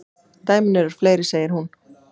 Dæmin eru fleiri, segir hún.